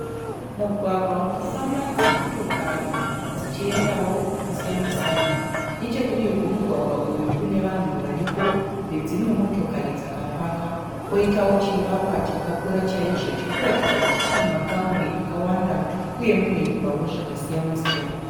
Mugwagwa unofamba dzimotokari dzichiendawo kwakasiyana siyana. Nechekudivi kwemugwagwa uyu kune vanhu variko nedzimwe motokari dzakapaka kwoitawo chivakwa chakakura chaizvo chiri kuratidza kuti chine makamuri akawanda uye munoitwawo zvakasiyana siyana.